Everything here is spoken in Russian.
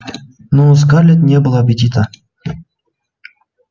но у скарлетт не было аппетита